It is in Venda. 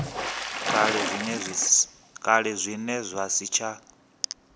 kale zwine zwa si tsha